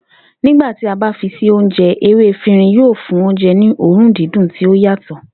Nígbà tí a bá fi sí oúnje̩, ewé efiri yóò fún oúnje̩ ní òórùn dídùn tí ó yàtò̩